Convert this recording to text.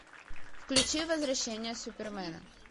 включи возвращение супермена